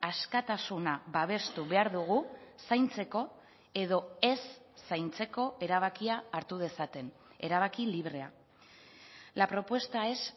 askatasuna babestu behar dugu zaintzeko edo ez zaintzeko erabakia hartu dezaten erabaki librea la propuesta es